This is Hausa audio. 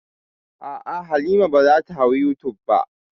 A'a, Halima ba za ta hau youtube ba.